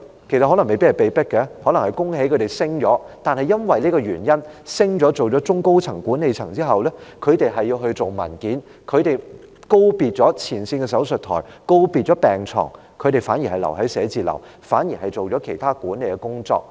其實，他們未必是被迫成為管理層，可能我要恭喜他們獲得晉升，但基於他們晉升成為中高層的管理層後，他們要處理文件，告別前線的手術枱和病床，他們反而留在寫字樓，做其他管理工作。